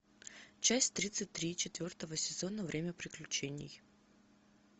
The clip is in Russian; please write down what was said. часть тридцать три четвертого сезона время приключений